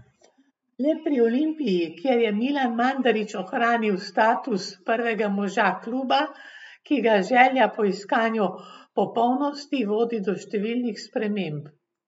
Le pri Olimpiji, kjer je Milan Mandarić ohranil status prvega moža kluba, ki ga želja po iskanju popolnosti vodi do številnih sprememb.